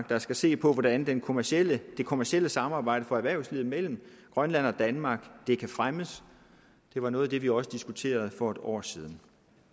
der skal se på hvordan det kommercielle det kommercielle samarbejde for erhvervslivet mellem grønland og danmark kan fremmes det var noget af det vi også diskuterede for et år siden